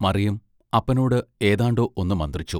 മറിയം അപ്പനോട് ഏതാണ്ടൊ ഒന്നു മന്ത്രിച്ചു.